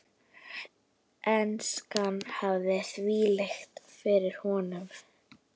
Enskan hafði þvælst fyrir honum.